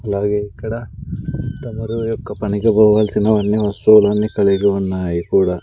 అలాగే ఇక్కడ తమరి యొక్క పనికి పోవాల్సిన అన్నీ వస్తువులు కలిగి ఉన్నాయి కూడా.